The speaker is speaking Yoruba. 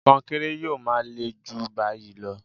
Kọnkéré yóò máa le jù báyìí lọ